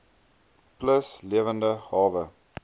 plus lewende hawe